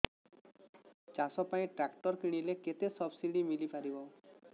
ଚାଷ ପାଇଁ ଟ୍ରାକ୍ଟର କିଣିଲେ କେତେ ସବ୍ସିଡି ମିଳିପାରିବ